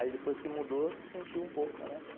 Aí depois que mudou, sentiu um pouco, né?